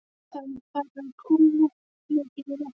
Það er farið að kólna mikið í lofti.